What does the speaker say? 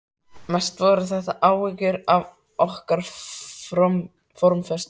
Mest voru þetta áhyggjur af okkar formföstu